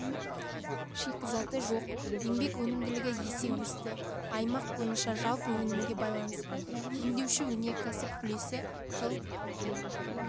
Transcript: шикізаты жоқ еңбек өнімділігі есе өсті аймақ бойынша жалпы өнімге байланысты өңдеуші өнеркәсіп үлесі жыл